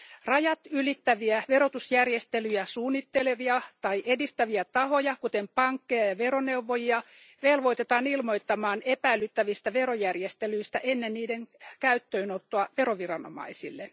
Rajatylittäviä verotusjärjestelyjä suunnittelevia tai edistäviä tahoja, kuten pankkeja ja veroneuvojia, velvoitetaan ilmoittamaan epäilyttävistä verojärjestelyistä ennen niiden käyttöönottoa veroviranomaisille.